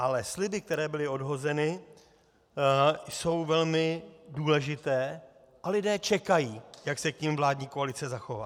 Ale sliby, které byly odhozeny, jsou velmi důležité a lidé čekají, jak se k nim vládní koalice zachová.